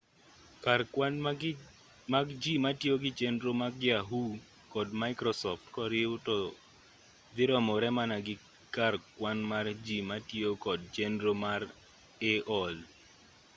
kar kwan mag ji matiyo gi chenro mag yahoo kod microsoft koriw to dhi romore mana gi kar kwan mar ji matiyo kod chenro mar aol